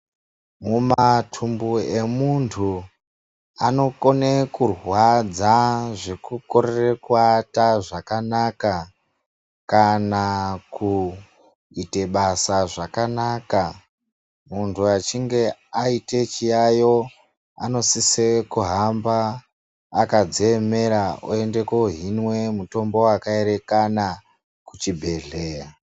Mumatumbu emuntu anokone kurwadza zvekukorere kuata zvakanaka kana kuite basa zvakanaka muntu achinge aite chiyayo anosise kuhamba akadziemera oende kohinwe mutombo wakaerekana kuchibhehleya.